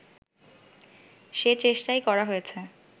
সে চেষ্টাই করা হয়েছে